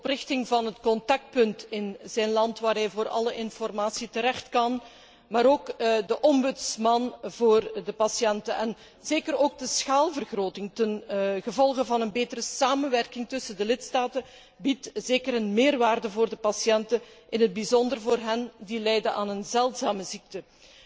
De oprichting van een contactpunt in het land van de patiënt waar deze voor alle informatie terecht kan, maar ook de ombudsman voor de patiënten en zeker ook de schaalvergroting dankzij een betere samenwerking tussen de lidstaten bieden zeker een meerwaarde voor de patiënten, in het bijzonder voor hen die lijden aan een zeldzame ziekte.